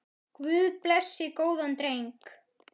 Guð blessi góðan dreng.